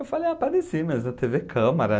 Eu falei, eu apareci, mas na tê vê Câmara.